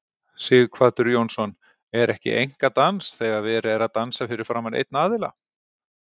Sighvatur Jónsson: Er ekki einkadans þegar verið er að dansa fyrir framan einn aðila?